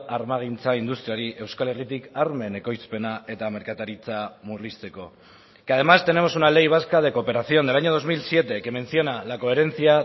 armagintza industriari euskal herritik armen ekoizpena eta merkataritza murrizteko que además tenemos una ley vasca de cooperación del año dos mil siete que menciona la coherencia